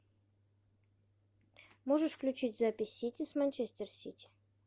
можешь включить запись сити с манчестер сити